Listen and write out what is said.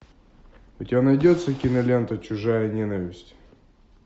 у тебя найдется кинолента чужая ненависть